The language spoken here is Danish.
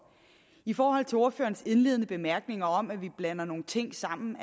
i forhold til ordførerens indledende bemærkninger om at vi blander nogle ting sammen